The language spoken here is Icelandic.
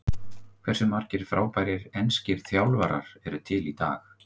Hversu margir frábærir enskir þjálfarar eru til í dag?